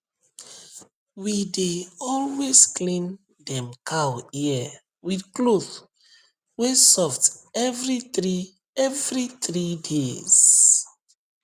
we dey always clean dem cow ear with cloth wey soft every three every three days